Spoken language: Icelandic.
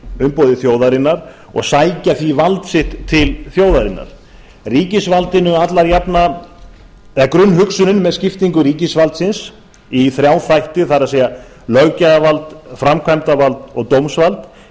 umboði þjóðarinnar og sækja því vald sitt til þjóðarinnar grunnhugsunin með skiptingu ríkisvaldsins í þrjá þætti það er löggjafarvald framkvæmdarvald og dómsvald